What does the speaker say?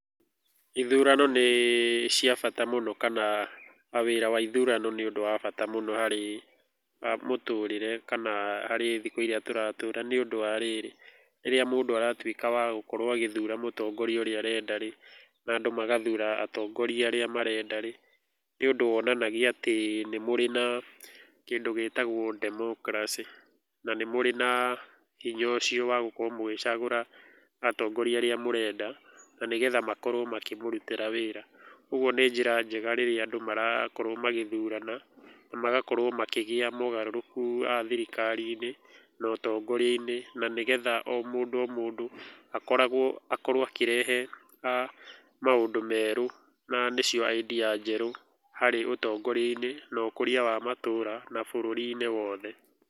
Ithurano nĩ cia bata mũno, kana wĩra wa ithurano nĩ ũndũ wa bata mũno harĩ mũtũrĩre kana harĩ thikũ iria tũratũra nĩũndũ wa rĩrĩ, rĩrĩa mũndũ aratuĩka wa gũkorwo agĩthura mũtongoria ũrĩa arenda rĩ, na andũ magathura atongoria arĩa marenda rĩ, nĩũndũ wonanagia atĩ nĩmũrĩ na kĩndũ gĩtagwo democracy na nĩmũrĩ na hinya ũcio wa gũkorwo mũgĩcagũra atongoria arĩa mũrenda, na nĩgetha makorwo makĩmũrutĩra wĩra. Ũguo nĩ njĩra njega rĩrĩa andũ marakorwo magĩthurana, na magakorwo makĩgĩa mogarũrũku thirikari-inĩ, na ũtongoria-inĩ na nĩgetha o mondũ o mũndũ akoragwo akorwo akĩrehe maũndũ merũ na nĩcio idea njerũ harĩ ũtongoria-inĩ na ũkũria wa matũũra na bũrũri-inĩ wothe.